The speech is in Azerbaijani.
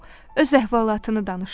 O öz əhvalatını danışdı.